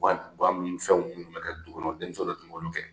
fɛn minnu bɛ ka dugu kɔnɔ denmuso de tun b'olu kɛ